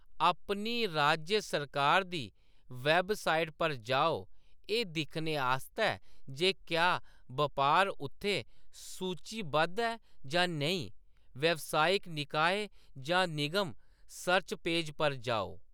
अपनी राज्य सरकार दी वैबसाइट पर जाओ एह्‌‌ दिक्खने आस्तै जे क्या बपार उत्थै सूचीबद्ध ऐ जां नेईं, व्यावसायिक निकाय जां निगम सर्च पेज पर जाओ।